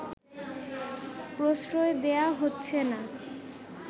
প্রশ্রয় দেয়া হচ্ছেনা